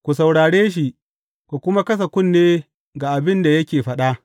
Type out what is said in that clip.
Ku saurare shi, ku kuma kasa kunne ga abin da yake faɗa.